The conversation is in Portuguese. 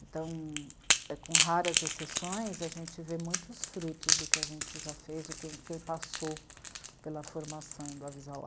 Então, com raras exceções, a gente vê muitos frutos do que a gente já fez, o quem, quem passou pela formação do Avisalá.